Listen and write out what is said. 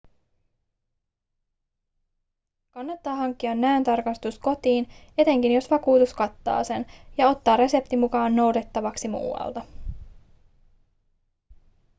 kannattaa hankkia näöntarkastus kotiin etenkin jos vakuutus kattaa sen ja ottaa resepti mukaan noudettavaksi muualta